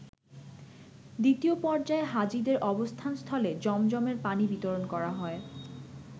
দ্বিতীয় পর্যায়ে হাজীদের অবস্থানস্থলে জমজমের পানি বিতরণ করা হয়।